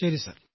ശരി സർ